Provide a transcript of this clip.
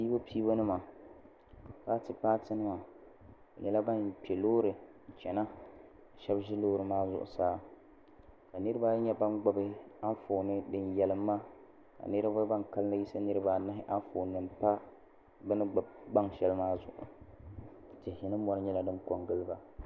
pɛbupɛbu nima patɛ patɛ nima be shɛla ban kpɛ lori n chɛna shɛbi ʒɛ lori maa zuɣ' saa ka niribaayi nyɛ ban gbabi anƒɔni nima din yalin ma ka niriba ban kalinli yiɣisi niribaanahi anƒɔni nima pa si zuɣ' tihi ni mori nyɛla din kon gili ba